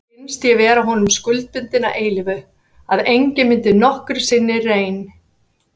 Mér fannst ég vera honum skuldbundin að eilífu, að enginn myndi nokkru sinni reyn